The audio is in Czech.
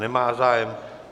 Nemá zájem.